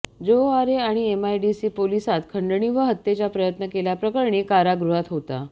जो आरे आणि एमआयडीसी पोलिसात खंडणी व हत्येचा प्रयत्न केल्याप्रकरणी कारागृहात होता